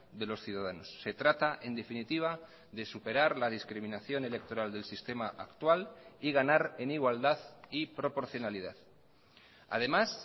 de los ciudadanos se trata en definitiva de superar la discriminación electoral del sistema actual y ganar en igualdad y proporcionalidad además